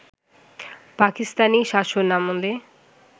পাকিস্তানি শাসনামলে